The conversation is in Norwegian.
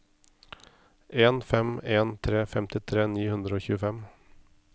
en fem en tre femtitre ni hundre og tjuefem